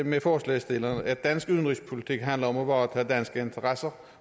med forslagsstillerne i at dansk udenrigspolitik handler om at varetage danske interesser